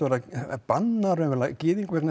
að banna raunverulega gyðingum